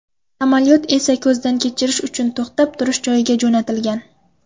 Samolyot esa ko‘zdan kechirish uchun to‘xtab turish joyiga jo‘natilgan.